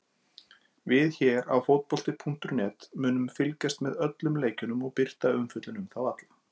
Við hér á fótbolti.net munum fylgjast með öllum leikjunum og birta umfjöllun um þá alla.